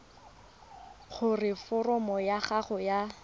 gore foromo ya gago ya